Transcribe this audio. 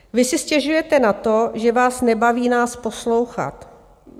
Vy si stěžujete na to, že vás nebaví nás poslouchat?